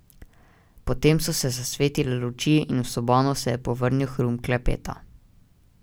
Potem so zasvetile luči in v sobano se je povrnil hrum klepeta.